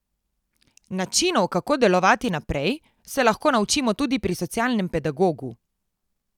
Načinov, kako delovati naprej, se lahko naučimo tudi pri socialnem pedagogu.